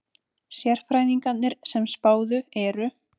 Sérfræðingarnir sem spáðu eru: